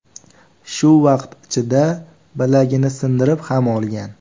Shu vaqt ichida bilagini sindirib ham olgan.